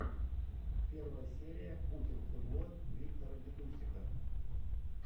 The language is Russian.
первая серия путинхуйло виктора дидусика